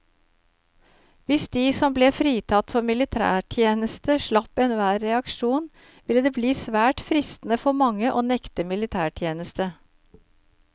Hvis de som ble fritatt for militærtjeneste slapp enhver reaksjon, ville det bli svært fristende for mange å nekte militætjeneste.